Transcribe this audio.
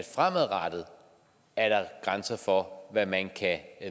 fremadrettet er grænser for hvad man kan